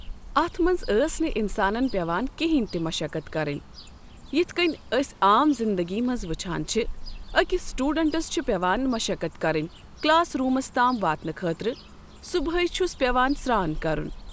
اتھ منٛز ٲس نہٕ اِنسانَس پٮ۪وان کٕہینۍ تہِ مَشکت کَرٕنۍ یتھ کٔنۍ أسۍ عام زنٛدگی منٛز وٕچھان چھِ أکِس سُٹوڈنٛٹس چھِ پیوان مَشکت کَرٕنۍ کٕلاس روٗمس تام واتنہٕ خٲطرٕ صُبحٲے چھُس پیوان سران کرن۔